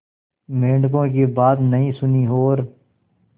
मेंढकों की बात नहीं सुनी और